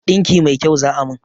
Ɗinki mai kyau za a min